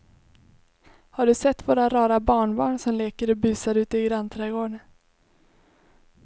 Har du sett våra rara barnbarn som leker och busar ute i grannträdgården!